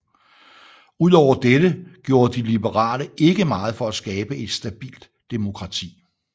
Ud over dette gjorde de liberale ikke meget for at skabe et stabilt demokrati